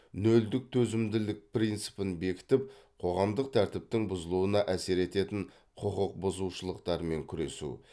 нөлдік төзімділік принципін бекітіп қоғамдық тәртіптің бұзылуына әсер ететін құқық бұзушылықтармен күресу